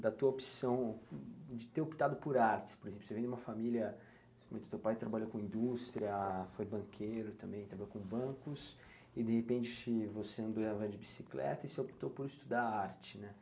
da tua opção de ter optado por artes, por exemplo, você vem de uma família, principalmente o teu pai trabalha com indústria, foi banqueiro também, trabalhou com bancos, e de repente você andava de bicicleta e você optou por estudar arte, né?